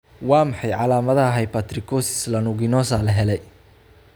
Waa maxay calaamadaha iyo calaamadaha Hypertrichosis lanuginosa, la helay?